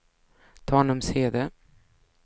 Tanumshede